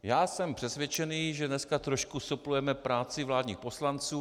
Já jsem přesvědčen, že dneska trošku suplujeme práci vládních poslanců.